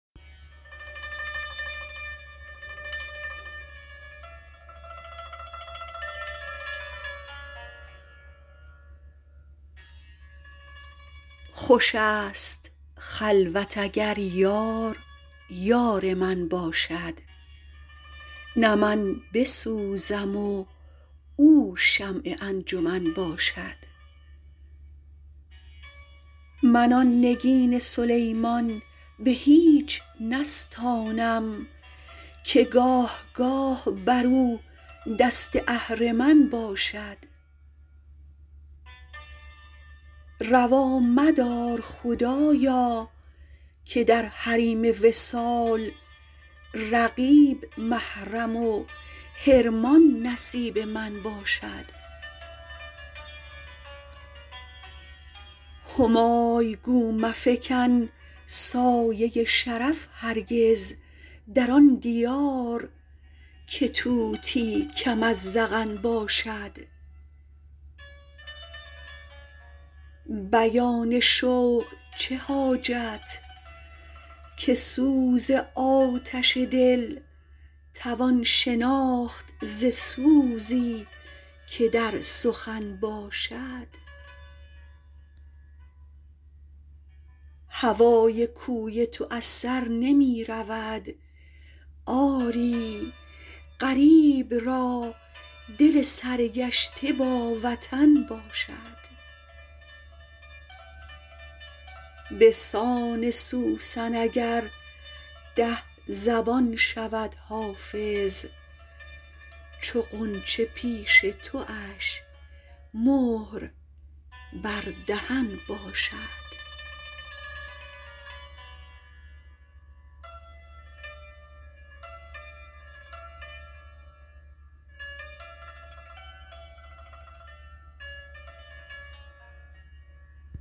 خوش است خلوت اگر یار یار من باشد نه من بسوزم و او شمع انجمن باشد من آن نگین سلیمان به هیچ نستانم که گاه گاه بر او دست اهرمن باشد روا مدار خدایا که در حریم وصال رقیب محرم و حرمان نصیب من باشد همای گو مفکن سایه شرف هرگز در آن دیار که طوطی کم از زغن باشد بیان شوق چه حاجت که سوز آتش دل توان شناخت ز سوزی که در سخن باشد هوای کوی تو از سر نمی رود آری غریب را دل سرگشته با وطن باشد به سان سوسن اگر ده زبان شود حافظ چو غنچه پیش تواش مهر بر دهن باشد